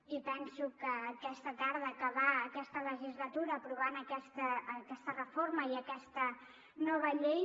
i penso que aquesta tarda acabar aquesta legislatura aprovant aquesta reforma i aquesta nova llei